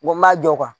Wa n m'a jɔ